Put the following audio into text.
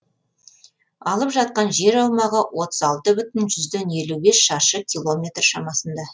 алып жатқан жер аумағы отыз алты бүтін жүзден елу бес шаршы километр шамасында